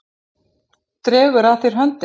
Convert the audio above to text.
Dregur að þér höndina.